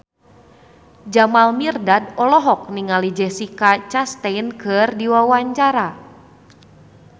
Jamal Mirdad olohok ningali Jessica Chastain keur diwawancara